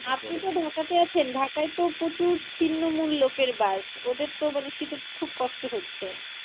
আপনি তো ঢাকা তে আছেন ঢাকায় তো প্রচুর ছিন্নমূল লোকের বাস ওদের তো মানে শীতে খুব কষ্ট হচ্ছে।